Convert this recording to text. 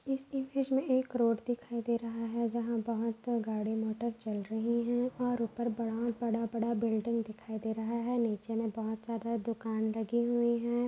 इस कि इमेज में एक रोड दिखाई दे रहा है। जहा बहोत गाडी मोटोर चल रही है और उपर बडा बडा-बडा बिल्डिंग दिखाई दे रहा है। नीचे मे बहुत ज्यादा दुकान लगी हुई है।